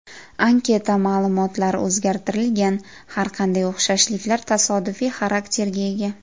Anketa ma’lumotlari o‘zgartirilgan, har qanday o‘xshashliklar tasodifiy xarakterga ega.